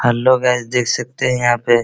hello guys देख सकते हैं यहां पे --